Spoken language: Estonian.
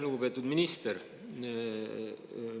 Lugupeetud minister!